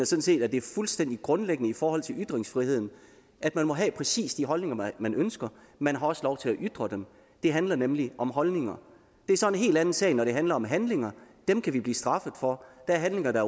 set at det er fuldstændig grundlæggende i forhold til ytringsfriheden at man må have præcis de holdninger man ønsker man har også lov til at ytre dem det handler nemlig om holdninger det er så en helt anden sag når det handler om handlinger dem kan vi blive straffet for der er handlinger der